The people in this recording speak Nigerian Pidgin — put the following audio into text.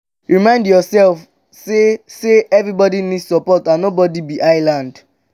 remind yourself sey sey everybody need support and nobody be island